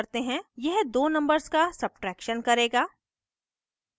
यह दो numbers का सब्ट्रैक्शन करेगा